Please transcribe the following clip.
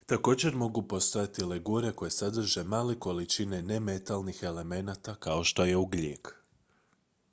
također mogu postojati legure koje sadrže male količine nemetalnih elemenata kao što je ugljik